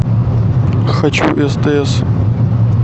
хочу стс